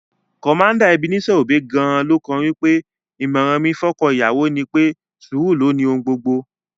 Commander Ebenezer Obey gan-an kọ́ lórin pé: "ìmọ̀ràn mi fọ́kọ́ ìyàwó ni pé, sùúrù ló ni ohun gbogbo"